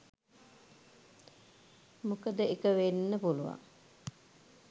මොකදඑක . වෙන්න පුලුවන්